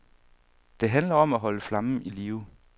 Det handler om at holde flammen i live.